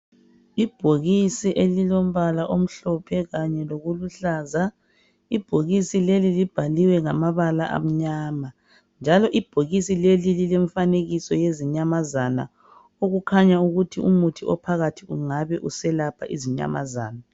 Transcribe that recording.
Ibhokisa elimbala omhlophe kanye lokuluhlaza ibhakisi leli libhaliwe ngambala amnyama njalo ibhokisi lelo lilomfanekiso wezinyamazana okukhanya ukuthi umuthi ophakathi kungabe uselapha izinyamazana.